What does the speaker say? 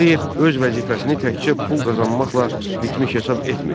Tağıyev öz vəzifəsini təkcə pul qazanmaqla bitmiş hesab etmirdi.